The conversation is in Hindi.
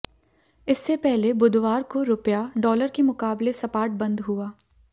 इससे पहले बुधवार को रुपया डॉलर के मुकाबले सपाट बंद हुआ